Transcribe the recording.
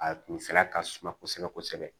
A kunfɛla ka suma kosɛbɛ kosɛbɛ